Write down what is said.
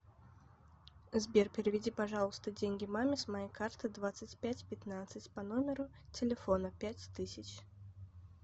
сбер переведи пожалуйста деньги маме с моей карты двадцать пять пятнадцать по номеру телефона пять тысяч